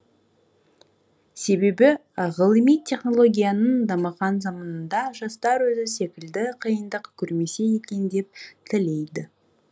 себебі ғылыми технологияның дамыған заманында жастар өзі секілді қиындық көрмесе екен деп тілейді